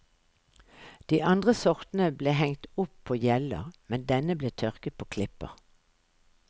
De andre sortene ble hengt opp på hjeller, men denne ble tørket på klipper.